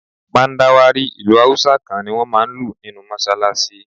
Mandawari ìlù Hausa kan ni wón máa ń lù nínú Mọ́ṣálásí.